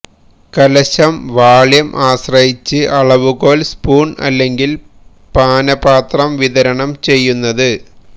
കലശം വാള്യം ആശ്രയിച്ച് അളവുകോൽ സ്പൂൺ അല്ലെങ്കിൽ പാനപാത്രം വിതരണം ചെയ്യുന്നത്